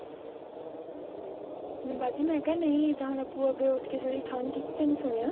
ਬਾਜੀ ਮੈਂ ਕਿਹਾ ਨਹੀਂ ਖੰਗ ਕੀਤੀ ਤੈਨੂੰ ਸੁਣਿਆ